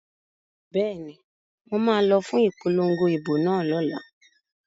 Bẹ́ẹ̀ni, mo ma lọ fún ipolongo ìbò náà lọ́la